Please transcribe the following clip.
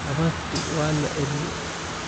Habartii waa la eryay?